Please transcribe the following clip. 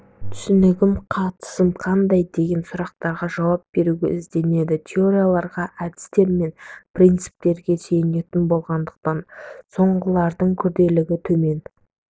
түсінігім қатысым қандай деген сұрақтарға жауап беруге ізденеді теорияларға әдістер мен принциптерге сүйенетін болғандықтан соңғылардың күрделілігі төмен